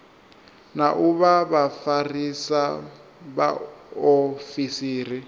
na u vha vhafarisa vhaofisiri